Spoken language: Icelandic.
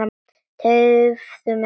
Tefðu mig ekki.